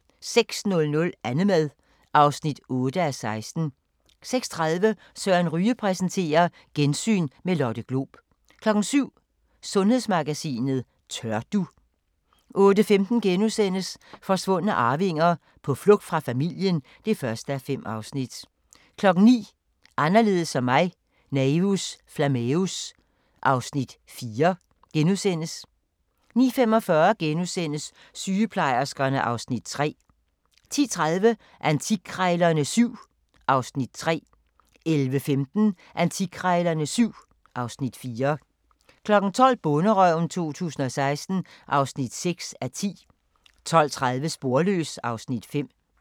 06:00: Annemad (8:16) 06:30: Søren Ryge præsenterer: Gensyn med Lotte Glob 07:00: Sundhedsmagasinet: Tør du? 08:15: Forsvundne arvinger: På flugt fra familien (1:5)* 09:00: Anderledes som mig – Naevus Flammeus (Afs. 4)* 09:45: Sygeplejerskerne (Afs. 3)* 10:30: Antikkrejlerne XVII (Afs. 3) 11:15: Antikkrejlerne XVII (Afs. 4) 12:00: Bonderøven 2016 (6:10) 12:30: Sporløs (Afs. 5)